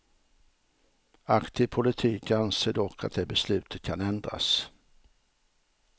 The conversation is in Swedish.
Aktiv politik anser dock att det beslutet kan ändras.